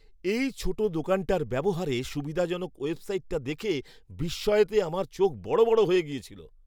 এই ছোট দোকানটার ব্যবহারে সুবিধাজনক ওয়েবসাইটটা দেখে বিস্ময়তে আমার চোখ বড় বড় হয়ে গেছিল!